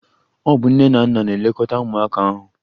Ọ bụ nne na nna na-elekọta ụmụaka ahụ.